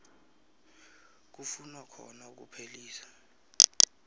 kufunwa khona ukuphelisa